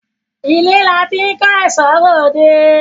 Ilé là tí n kò èso rẹ òde